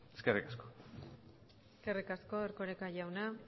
eskerrik asko eskerrik asko erkoreka jauna